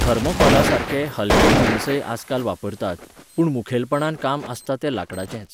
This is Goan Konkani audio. थर्मोकोलासारके, हलके जिनसय आजकाल वापरतात, पूण मुखेलपणान काम आसता तें लाकडाचेंच.